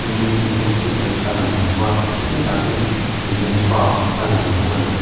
hospital a lang bawk a khi lai ah khian hlimen park a lang bawk a ni.